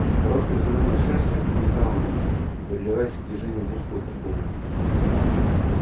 короткая холёная шерсть так и блистала на ней переливаясь от движения мускулов под кожей